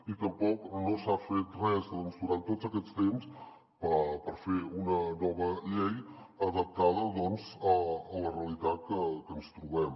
i tampoc no s’ha fet res durant tot aquest temps per fer una nova llei adaptada a la realitat que ens trobem